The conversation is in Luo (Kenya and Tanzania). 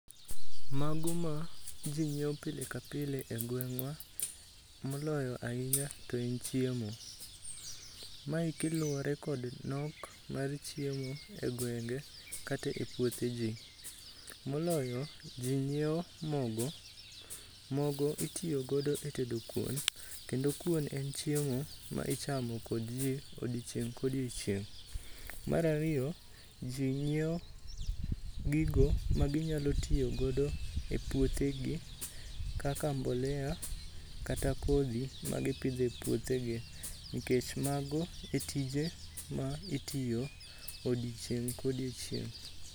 Mago ma ji nyiewo pile ka pile e gweng'wa moloyo ahinya to en chiemo. Ma eki luwore kod nok mar chiemo e gwenge kata e puothe ji. Moloyo, ji nyiewo mogo . Mogo itiyo godo e tedo kuon, kendo kuon en chiemo ma ichamo kod ji odiochieng' kodiochieng'. Mar ariyo, ji nyiewo gigo maginyalo tiyo godo e puothegi kaka mbolea kata kodhi magipidho e puothegi, nikech mago e tije ma itiyo odiochieng' kodiochieng'.